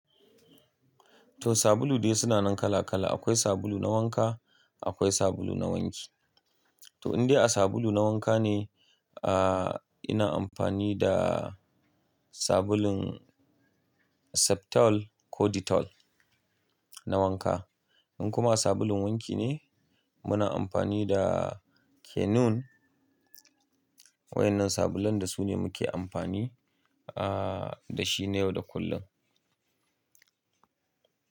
To sabulu dai suna nan kala kala. Akwai sabulu na wanka, akwai sabulu na wanki. To in dai a sabulu na wanka ne, ah, ina amfani da sabulun Septol ko Dettol na wanka. In kuma sabulun wanki ne, muna amfani da canoe. Waɗannan sabulun da su ne muke amfani, ah, da shi ne yau da kullum.